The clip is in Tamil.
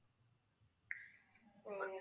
உம்